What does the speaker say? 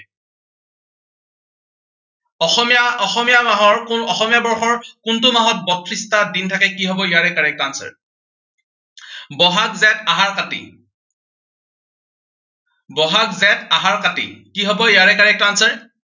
অসমীয়া, অসমীয়া মাহৰ কোন, অসমীয়া বৰ্ষৰ কোনটো মাহত বত্ৰিশটা দিন থাকে, কি হব ইয়াৰে correct answer বহাগ জেঠ আহাৰ কাতি বহাগ জেঠ আহাৰ কাতি। কি হব ইয়াৰে correct answer